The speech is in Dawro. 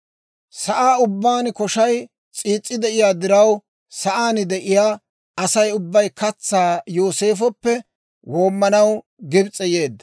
Sa'aa ubbaan koshay s'iis's'i de'iyaa diraw, sa'aan de'iyaa Asay ubbay katsaa Yooseefoppe woomanaw Gibs'e yeedda.